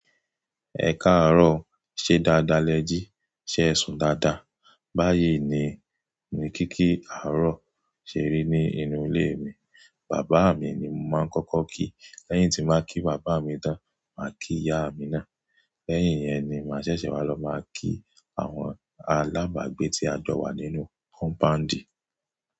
Ẹ káàárọ̀ ṣe dáadáa lẹ jí, ṣe ẹ sùn dáadáa. Báyìí ni mo ní kí kí àárọ̀ ṣe rí ní inú ilé mi. Bàbá mi ni mo máa ń kọ́kọ́ kí. Lẹ́yìn tí màá kí bàbá mi tán, màá kí ìyá mi ná. Lẹ́yìn yẹn ni màá ṣẹ̀ṣẹ̀ wá lọ máa kí àwọn alábàágbé tí a gbọ̀ wá nínú compound.